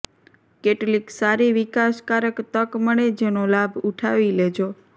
કેટલીક સારી વિકાસકારક તક મળે જેનો લાભ ઉઠાવી લેજો